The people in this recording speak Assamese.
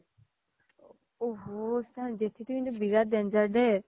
ওহ হো জেথি তো কিন্তু বহুত danger দেই